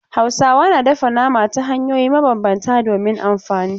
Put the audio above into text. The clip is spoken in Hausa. Hausawa na dafa nama ta hanyoyi mabambanta domin amfani.